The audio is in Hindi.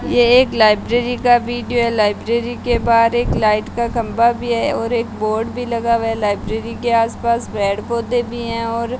यह एक लाइब्रेरी का वीडियो है लाइब्रेरी के बाहर एक लाइट का खंबा भी है और एक बोर्ड भी लगा हुआ लाइब्रेरी के आस पास पेड़ पौधे भी है और --